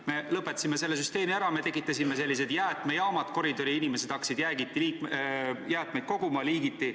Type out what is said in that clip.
Me lõpetasime selle süsteemi ära ja tekitasime koridoridesse jäätmekogumiskohad, nii et inimesed hakkasid jäätmeid koguma liigiti.